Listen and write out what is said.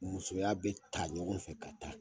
Musoya bɛ ta ɲɔgɔn fɛ ka taa